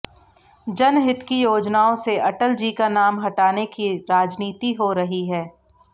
जनहित की योजनाओं से अटल जी का नाम हटाने की राजनीति हो रही है